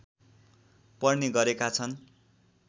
पर्ने गरेका छन्